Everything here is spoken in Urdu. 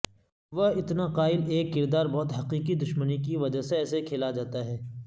وہ اتنا قائل ایک کردار بہت حقیقی دشمنی کی وجہ سے ایسے کھیلا جاتا ہے